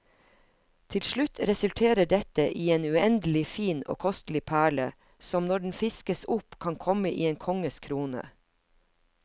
Til slutt resulterer dette i en uendelig fin og kostelig perle, som når den fiskes opp kan komme i en konges krone.